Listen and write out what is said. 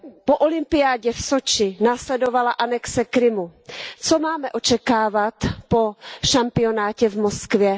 Po olympiádě v Soči následovala anexe Krymu, co máme očekávat po šampionátu v Moskvě?